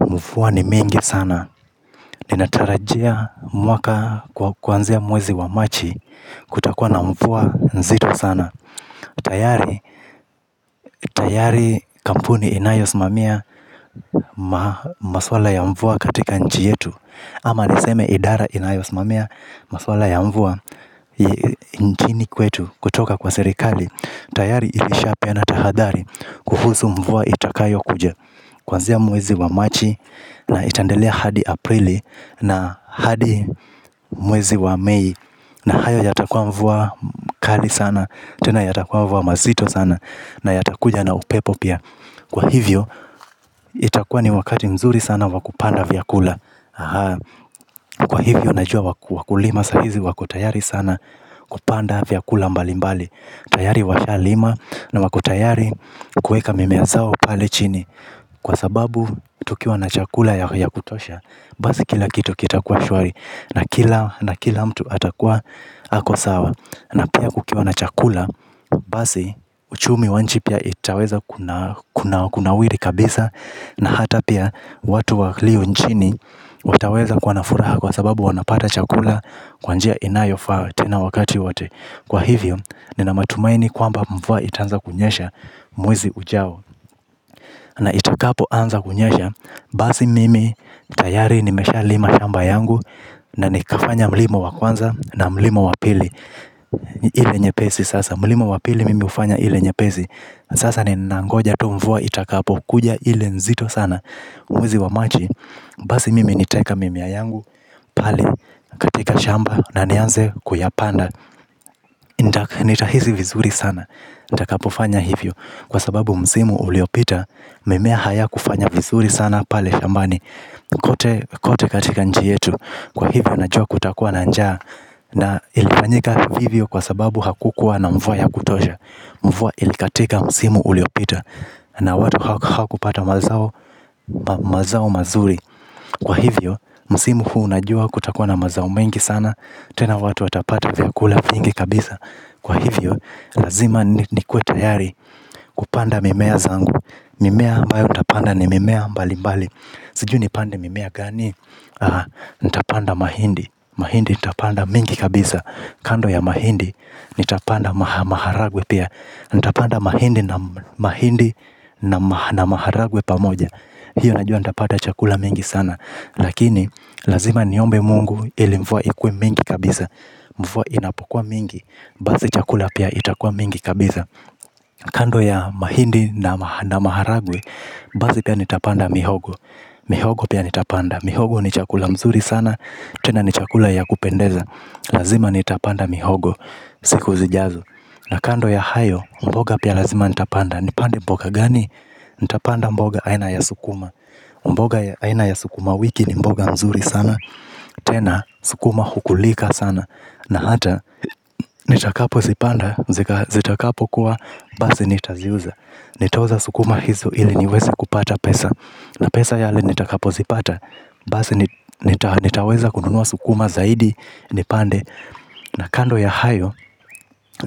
Mvua ni mingi sana. Ninatarajia mwaka kuanzia mwezi wa machi kutakuwa na mvua nzito sana. Tayari kampuni inayosimamia masuala ya mvua katika nchi yetu ama niseme idara inayosimamia masuala ya mvua nchini kwetu kutoka kwa serikali. Tayari ilishapeana tahadhari kuhusu mvua itakayokuja. Kwanzia mwezi wa machi na itaendelea hadi aprili na hadi mwezi wa may na hayo yatakuwa mvua kali sana, tena yatakuwa mvua mazito sana na yatakuja na upepo pia. Kwa hivyo itakua ni wakati mzuri sana wa kupanda vyakula. Kwa hivyo najua wakulima sahizi wako tayari sana kupanda vyakula mbali mbali. Tayari washalima na wako tayari kueka mimea zao pale chini. Kwa sababu tukiwa na chakula ya kutosha basi kila kitu kitakuwa shwari na kila mtu atakuwa ako sawa na pia kukiwa na chakula basi uchumi wa nchi pia itaweza kunawili kabisa na hata pia watu walio nchini wataweza kuwa na furaha kwa sababu wanapata chakula. Kwa njia inayofaa tena wakati wote. Kwa hivyo nina matumaini kwamba mvua itaanza kunyesha mwezi ujao na itakapoanza kunyesha basi mimi tayari nimeshalima shamba yangu na nikafanya mlimo wa kwanza na mlimo wa pili ile nyepesi sasa mlimo wa pili mimi hufanya ile nyepesi sasa ninangoja tu mvua itakapo kuja ile nzito sana umizi wa maji basi mimi nitaeka mimea yangu pale katika shamba na nianze kuyapanda. Nitahizi vizuri sana. Nitakapofanya hivyo kwa sababu msimu uliopita mimea hayakufanya vizuri sana pale shambani. Kote katika nchi yetu. Kwa hivyo najua kutakuwa na njaa na ilifanyika hivyo kwa sababu hakukuwa na mvua ya kutosha. Mvua ilikatika msimu uliopita na watu hawakupata mazao mazuri. Kwa hivyo msimu huu najua kutakuwa na mazao mengi sana. Tena watu watapata vyakula vingi kabisa. Kwa hivyo, lazima nikuwe tayari kupanda mimea zangu. Mimea abayo nitapanda ni mimea mbalimbali. Sijui nipande mimea gani. Ntapanda mahindi. Mahindi ntapanda mingi kabisa. Kando ya mahindi ntapanda maharagwe pia. Ntapanda mahindi na maharagwe pamoja. Hiyo najua ntapata chakula mingi sana. Lakini, lazima niombe mungu ili mvua ikuwe mingi kabisa. Mvua inapokua mingi basi chakula pia itakua mingi kabisa. Kando ya mahindi na maharagwe basi pia nitapanda mihogo. Mihogo pia nitapanda. Mihogo ni chakula mzuri sana. Tena ni chakula ya kupendeza. Lazima nitapanda mihogo siku zijazo na kando ya hayo mboga pia lazima nitapanda. Nipande mboga gani? Nitapanda mboga aina ya sukuma. Mboga aina ya sukuma wiki ni mboga mzuri sana. Tena sukuma hukulika sana na hata, nitakapozipanda, zitakapokuwa, basi nitaziuza. Nitauza sukuma hizo ili niweze kupata pesa na pesa yale nitakapozipata, basi nitaweza kununua sukuma zaidi, nipande na kando ya hayo,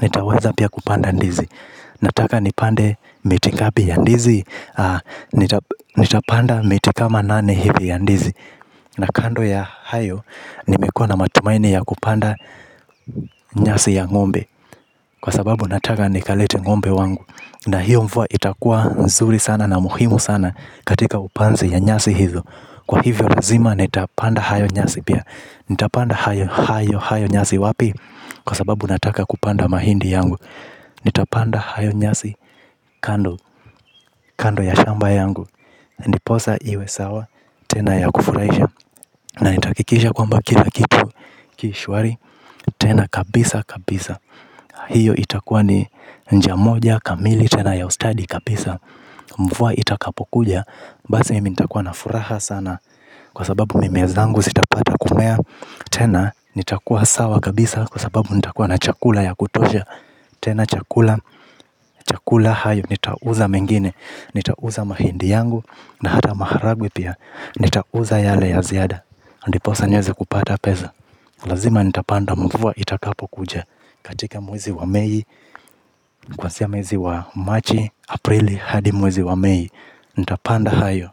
nitaweza pia kupanda ndizi. Nataka nipande miti ngapi ya ndizi, nitapanda miti kama nane hivi ya ndizi na kando ya hayo nimekuwa na matumaini ya kupanda nyasi ya ng'ombe. Kwa sababu nataka nikalete ng'ombe wangu na hiyo mvua itakua nzuri sana na muhimu sana katika upanzi ya nyasi hizo. Kwa hivyo lazima nitapanda hayo nyasi pia. Nitapanda hayo hayo hayo nyasi wapi? Kwa sababu nataka kupanda mahindi yangu. Nitapanda hayo nyasi kando ya shamba yangu. Ndiposa iwe sawa tena ya kufurahisha na nitahakikisha kwamba kila kitu ki shwari. Tena kabisa kabisa hiyo itakuwa ni njia moja kamili. Tena ya ustadi kabisa. Mvua itakapokuja basi mimi nitakuwa na furaha sana kwa sababu mimea zangu sitapata kumea. Tena nitakuwa sawa kabisa kwa sababu nitakuwa na chakula ya kutosha. Tena chakula chakula hayo nitauza mengine. Nitauza mahindi yangu na hata maharagwe pia. Nitauza yale ya ziada ndiposa nieze kupata pesa. Lazima nitapanda mvua itakapokuja katika mwezi wa May Kuanzia miezi wa Marchi Aprili hadi mwezi wa May. Nitapanda hayo.